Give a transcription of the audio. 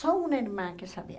Só uma irmã que sabia.